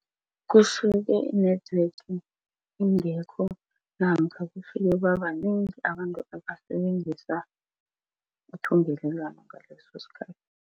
Kusuke i-network ingekho namkha kufike babanengi abantu abasebenzisa ithungelelwano ngaleso sikhathi.